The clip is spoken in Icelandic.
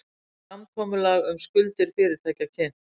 Samkomulag um skuldir fyrirtækja kynnt